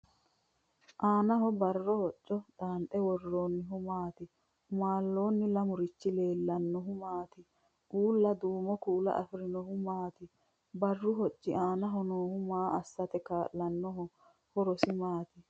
Annaho barro hocco xaanxe worroonnihu maati? Umaalloonni lamurichi leellannohu maati? Uulla duumo kuula afirinohu maati? Barru hocci aanaho noohu maa assate kaa'lannoho? Horosi maati?